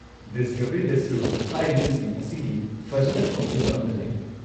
ꯗꯤꯁꯀꯚꯔꯤꯗꯁꯨ ꯍꯥꯏꯔꯤꯕꯁꯤꯡ ꯑꯁꯤꯒꯤ ꯐꯖꯅ ꯈꯣꯝꯖꯤꯟꯕ ꯑꯃ ꯂꯩ꯫